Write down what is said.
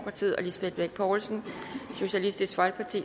lisbeth bech poulsen